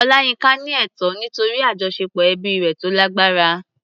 Olayinka ní ẹ̀tọ́ nítorí àjọṣepọ̀ ẹbí rẹ̀ tó lágbára.